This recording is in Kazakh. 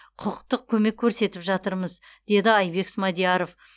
құқықтық көмек көрсетіп жатырмыз деді айбек смадияров